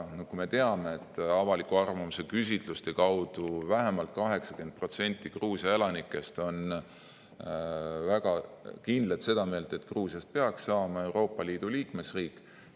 Nagu me teame, avaliku arvamuse küsitluste alusel on vähemalt 80% Gruusia elanikest väga kindlalt seda meelt, et Gruusiast peaks saama Euroopa Liidu liikmesriik.